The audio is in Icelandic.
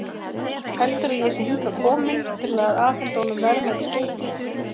Heldur að ég sé hingað kominn til að afhenda honum verðmæt skeyti.